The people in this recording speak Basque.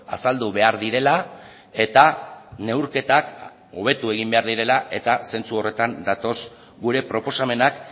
azaldu behar direla eta neurketak hobetu egin behar direla eta sentsu horretan datoz gure proposamenak